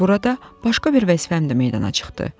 Burada başqa bir vəzifəm də meydana çıxdı.